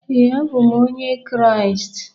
ee, abụ m onye Kraịst